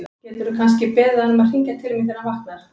Gætirðu kannski beðið hann um að hringja til mín þegar hann vaknar?